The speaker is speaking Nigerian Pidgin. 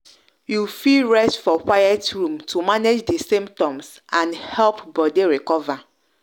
you fit rest for quiet room to manage di symptoms and help body recover.